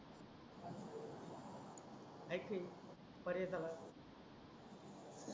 आहे काही पर्यय त्याला